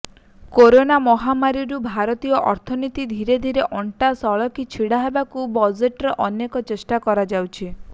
corona ମହାମାରୀରୁ ଭାରତୀୟ ଅର୍ଥନୀତି ଧୀରେ ଧୀରେ ଅଣ୍ଟା ସଳଖି ଛିଡ଼ା ହେବାକୁ ବଜେଟରେ ଅନେକ ଚେଷ୍ଟା କରାଯାଇଛି